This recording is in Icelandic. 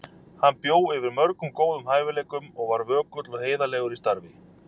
Hann bjó yfir mörgum góðum hæfileikum og var vökull og heiðarlegur í starfi.